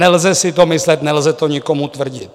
Nelze si to myslet, nelze to nikomu tvrdit.